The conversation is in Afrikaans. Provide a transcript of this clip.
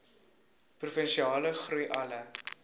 provinsiale groei alle